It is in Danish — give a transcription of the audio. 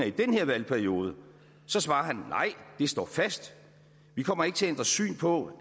i den her valgperiode så svarer han nej det står fast vi kommer ikke til at ændre syn på